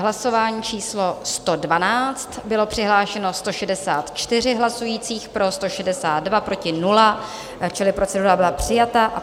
Hlasování číslo 112, bylo přihlášeno 164 hlasujících, pro 162, proti 0, čili procedura byla přijata.